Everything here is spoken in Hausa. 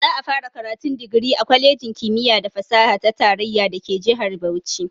Za'a fara karatun digiri a kwalejin kimiyya da fasaha ta tarayya dake jihar Bauchi.